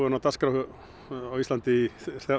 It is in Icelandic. á dagskrá á Íslandi